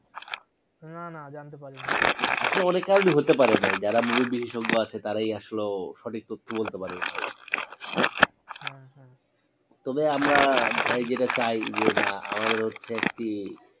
না না জানতে পারিনি আসলে অনেক কারন ই হতে পারে ভাই যারা movie বিশেষজ্ঞ আছে তারাই আসলে সঠিক তত্থ বলতে পারবে ভাই হ্যাঁ হ্যাঁ তবে আমরা ভাই যেটা চাই যে না আমাদের হচ্ছে একটি